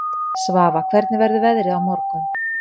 Svafa, hvernig verður veðrið á morgun?